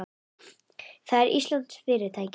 Það er íslenskt fyrirtæki.